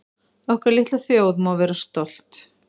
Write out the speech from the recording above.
Okkar litla þjóð má vera stolt